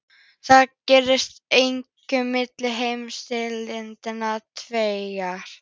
Þetta gerðist einkum milli heimsstyrjaldanna tveggja.